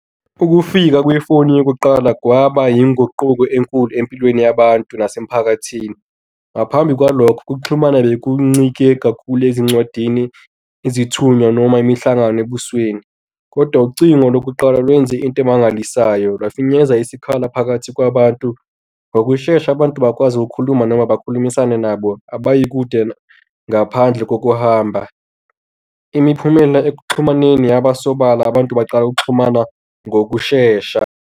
Ukufika kwefoni yokuqala kwaba inguquko enkulu empilweni yabantu nasemphakathini. Ngaphambi kwalokho ukuxhumana bekuncike kakhulu ezincwadini, izithunywa noma imihlangano ebusweni. Kodwa ucingo lokuqala lwenze into emangalisayo lafinyeza isikhala phakathi kwabantu. Ngokushesha abantu bakwazi ukukhuluma noma bakhulumisane nabo abayi kude ngaphandle kokuhamba. Imiphumela ekuxhumaneni yaba sobala, abantu baqala ukuxhumana ngokushesha.